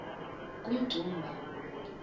kummdumba